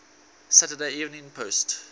saturday evening post